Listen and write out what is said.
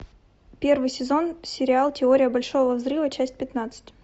первый сезон сериал теория большого взрыва часть пятнадцать